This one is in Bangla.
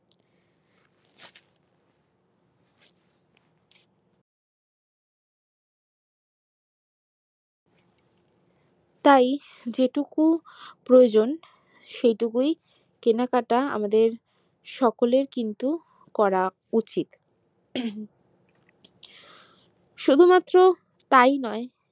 তাই যে টুকু প্রয়োজন সে টুকুই কেনাকাটা আমাদের সকলের করা উচিত শুধু মাত্র তাই নয়